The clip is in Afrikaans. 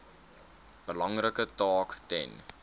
belangrike taak ten